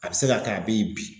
A be se ka kɛ a be yen bi.